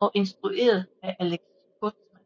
og instrueret af Alex Kurtzman